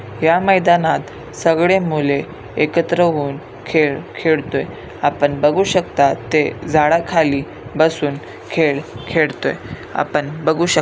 या मैदानात सगळे मुले एकत्र होऊन खेळ खेळतोय आपण बघू शकता ते झाडा खाली बसून खेळ खेळतोय आपण बघुशक--